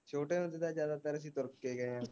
ਛੋਟੇ ਹੁੰਦੇ ਤਾ ਜਿਆਦਾਤਰ ਅਸੀਂ ਤੁਰ ਕੇ ਗਏ ਆ